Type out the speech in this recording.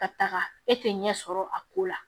Ka taga e tɛ ɲɛ sɔrɔ a ko la